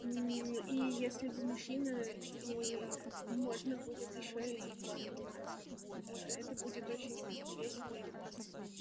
и если вы мужчина и можно будет ещё и пообниматься да это будет очень весело и классно